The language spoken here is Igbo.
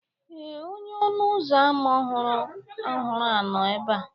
Ee, onye ọnụ ụzọ ámá ọhụrụ a nọ ebe a